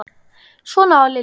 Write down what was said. Svona var Lilja.